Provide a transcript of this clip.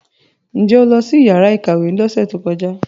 Ǹ jẹ́ o lọ sí yàrá ìkàwé lọ́sẹ̀ tó kọjá?